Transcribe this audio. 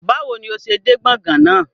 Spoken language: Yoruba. Bawo ni o ṣe de gbọ̀ngàn náa?